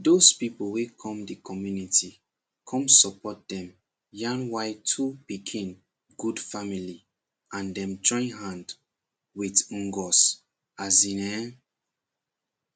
dose people wey cum de community com support dem yarn why two pikin good family and dem join hand with ngos asin ehnnn